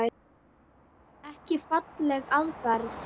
Ekki falleg aðferð.